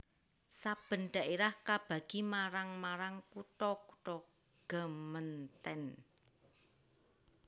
Saben dhaerah kabagi marang marang kutha kutha gemeenten